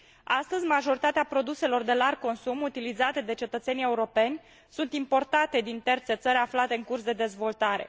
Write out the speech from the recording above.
Astăzi, majoritatea produselor de larg consum utilizate de cetățenii europeni sunt importate din terțe țări aflate în curs de dezvoltare.